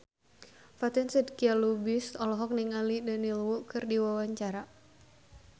Fatin Shidqia Lubis olohok ningali Daniel Wu keur diwawancara